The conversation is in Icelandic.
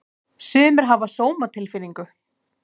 Sumir hafa sómatilfinningu.